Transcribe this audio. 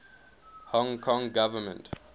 hong kong government